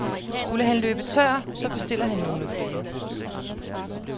Skulle han løbe tør, så bestiller han nogle flere.